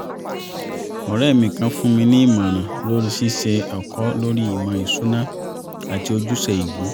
ọ̀rẹ́ mi kan fún mi ní ìmọ̀ràn lórí ṣíṣe ẹ̀kọ́ lórí ìmọ̀ ìṣúná àti ojúṣe ìlú